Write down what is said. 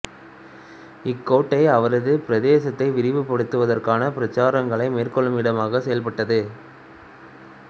இக்கோட்டை அவரது பிரதேசத்தை விரிவுபடுத்துவதற்கான பிரச்சாரங்களை மேற்கொள்ளும் இடமாக செயல்பட்டது